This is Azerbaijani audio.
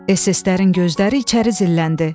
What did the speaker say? ES-ES-lərin gözləri içəri zilləndi.